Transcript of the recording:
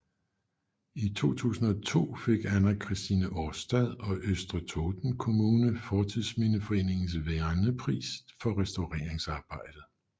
I 2002 fik Anna Christine Årstad og Østre Toten kommune Fortidsminneforeningens vernepris for restaureringsarbejdet